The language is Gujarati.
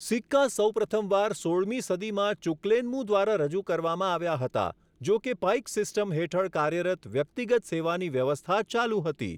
સિક્કા સૌપ્રથમવાર સોળમી સદીમાં ચૂક્લેનમૂં દ્વારા રજૂ કરવામાં આવ્યા હતા, જોકે પાઈક સિસ્ટમ હેઠળ કાર્યરત વ્યક્તિગત સેવાની વ્યવસ્થા ચાલુ હતી.